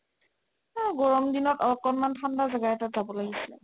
এহ গৰম দিনত অকণমান ঠাণ্ডা জাগা এটাত যাব লাগিছিলে